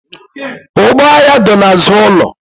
Ụgbọ agha dọ n'azụ ụlọ.